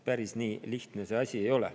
Päris nii lihtne see asi ei ole.